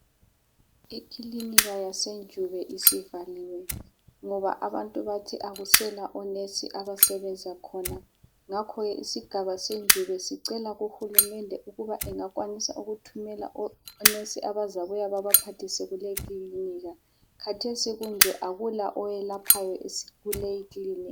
Ikilinika yasenjube isivaliwe, ngoba abantu bathi akusela onesi abasebenza khona ngakho ke isigaba senjube sicela kuhulumende ukubana engakwanisa kuthumela onesi abazabuya babaphathise kuleyi kilinika. Khathesi kunje akula oyelaphayo kuleyi kilinika.